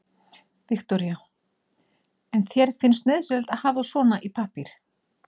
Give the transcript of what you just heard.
Viktoría: En þér finnst nauðsynlegt að hafa svona í pappír?